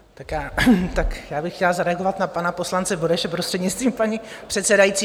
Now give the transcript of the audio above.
Tak já bych chtěla zareagovat na pana poslance Bureše, prostřednictvím paní předsedající.